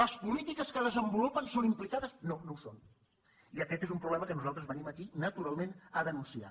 les polítiques que desenvolupen són implicades no no ho són i aquest és un problema que nosaltres venim aquí naturalment a denunciar